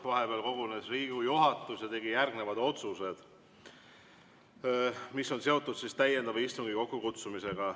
Vahepeal kogunes Riigikogu juhatus ja tegi järgnevad otsused, mis on seotud täiendava istungi kokkukutsumisega.